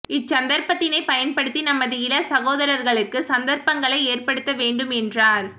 இச் சந்தர்ப்பத்தினை பயன்படுத்தி நமது இளம் சகோதர்களுக்கு சந்தர்ப்பங்களை ஏற்படுத்த வேண்டும் என்றார்